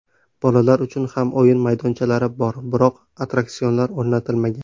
Bolalar uchun ham o‘yin maydonchalari bor, biroq attraksionlar o‘rnatilmagan.